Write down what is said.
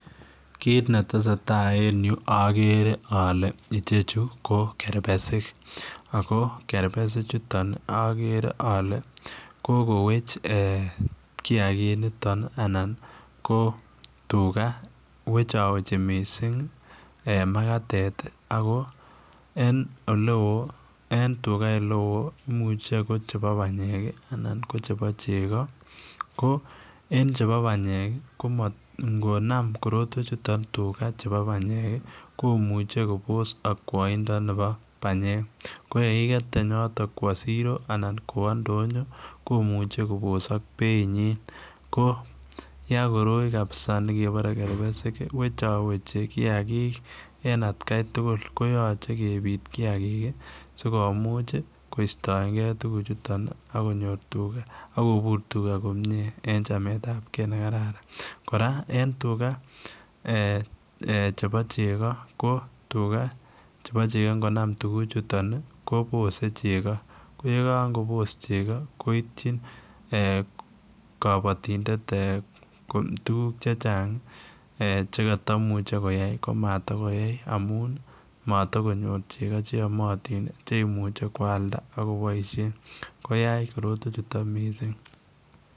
Kit ne tesetai en Yuu agere ale ichechuu ko ketbersiik ,ako kerbesiik chutoon agere ale kokoweech kiagiin initoon ana ko tugaah wechawechii missing makatet ago en ole wooh en tugaah ole wooh imuche koba panyeek ii anan ko chebo chegoo ko en chebo panyeek ko ingonam korotwech chutoon tugaah che panyeek komuchei Kobos akwaindo nebo panyeek ko yeykiket teeny otoon kowaa siroo anan kowaa ndonyoo komuchei kobosak beit nyiin ko yaan koroi kabisa nekebare ketbersiik wechaweechi kiagik en at Kai tugul koyachei kebiit kiagik ii sikomuuch koistaen gei tuguuk chutoon ii ako konyoor tugaah en chamet ab gei ne kararan, kora en tugaah chebo chegoo ko tugaah chebo chegoo ingonam tuguuk chutoon ii kobose chego ko ye kaboos chegoo koityi eeh kabatindet tuguuk che chaang eeh chekatamuchei koyai amuun matakonyoor chekaa che yamyatiin cheimuiche koyaldaa ak kobaisheen koyaach korotwech chutoon missing.